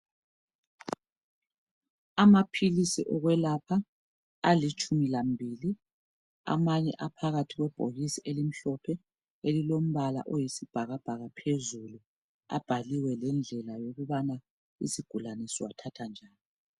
amaphilisi okwelapha alitshumilambiliamanye asebhokisini eliyisibhakabhaka phezulu abhaliwe lokuthi isigulane siwanatha njani